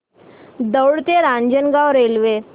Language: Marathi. दौंड ते रांजणगाव रेल्वे